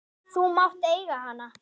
Þú mátt eiga hana!